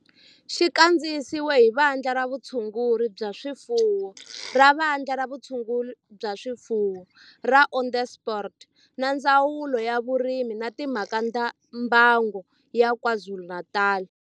Xi kandziyisiwe hi Vandla ra Vutshunguri bya swifuwo ra Vandla ra Vutshunguri bya swifuwo ra Onderstepoort na Ndzawulo ya Vurimi na Timhaka ta Mbango ya KwaZulu-Natal